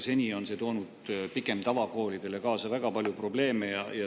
Seni on see pigem tavakoolidele kaasa toonud väga palju probleeme.